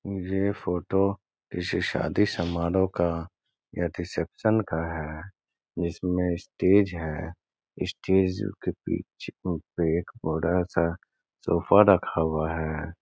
ये फोटो किसी शादी समारोह का या रिसेप्शन का है जिसमे स्टेज है स्टेज के पीछे पे एक बड़ा सा सोफा रखा हुआ है।